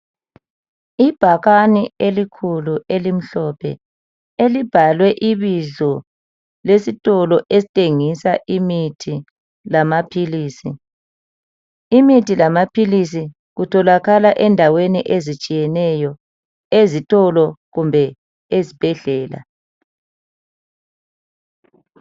Ibhakane elikhulu elimhlophe elibhalwe ibizo lesitolo esithengisa imithi lamaphilisi, imithi lamaphilisi kutholakala endaweni ezitshiyeneyo, ezitolo kumbe eZibhedlela.